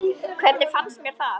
Hvernig fannst mér það?